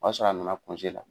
O y'a sɔrɔ a nana cɔnze la